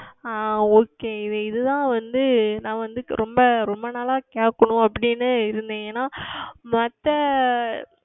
ஆஹ் Okay இது இது தான் வந்து நான் வந்து ரொம்ப ரொம்ப நாட்களாக கேட்கனும் அப்படி என்று இருந்தேன் ஏனால் மற்ற